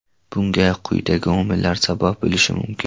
Bunga quyidagi omillar sabab bo‘lishi mumkin.